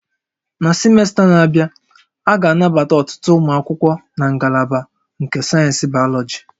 Na simesta na-abịa, a ga-anabata ọtụtụ ụmụ akwụkwọ na ngalaba nke sayensị Bayọlọji